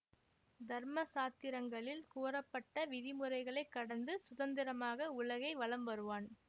தர்ம சாத்திரங்களில் கூறப்பட்ட விதிமுறைகளைக் கடந்து சுதந்திரமாக உலகை வலம் வருவான்